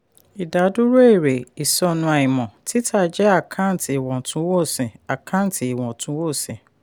ìdádúró èrè /ìsọnù àìmọ̀: títà jẹ́ àkántì ìwọ̀túnwọ̀sì. àkántì ìwọ̀túnwọ̀sì.